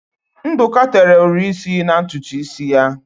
Ndụka tere ụri isi na ntutu isi ya.